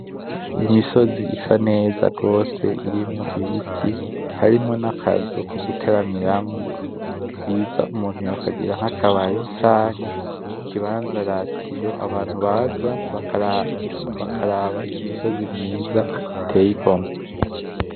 Imisozi isa neza gose irimwo ibiti harimwo n'akazu ko guteramiramwo , vyiza umuntu yokagira nk'akabare canke ikibanza ratiro , abantu baza bakaraba iyo misozi myiza iteye igomwe.